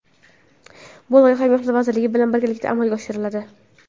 Bu loyiha Mehnat vazirligi bilan birgalikda amalga oshiriladi.